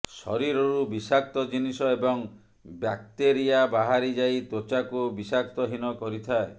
ଶରୀରରୁ ବିଷାକ୍ତ ଜିନିଷ ଏବଂ ବ୍ୟାକ୍ତେରିଆ ବାହାରି ଯାଇ ତ୍ବଚାକୁ ବିଷାକ୍ତହୀନ କରିଥାଏ